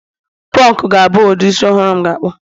punk ga-abụ ụdị isi ọhụrụ m ga-akpụ